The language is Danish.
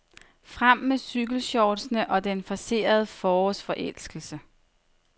Frem med cykelshortsene og den forcerede forårsforelskelse.